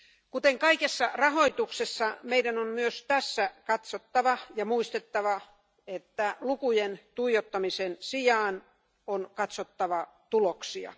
Kuten kaikessa rahoituksessa meidän on myös tässä katsottava ja muistettava, että lukujen tuijottamisen sijaan, on katsottava tuloksia.